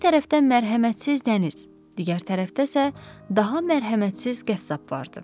Bir tərəfdən mərhəmətsiz dəniz, digər tərəfdə isə daha mərhəmətsiz qəssab vardı.